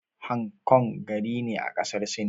Hang Kong gari ne a ƙasar Sin.